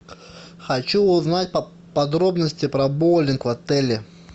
хочу узнать подробности про боулинг в отеле